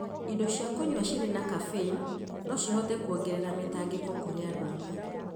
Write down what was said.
indo cia kũnyua cirĩ na caffeine no cihote kuongerera mĩtangĩko kũrĩ andũ amwe,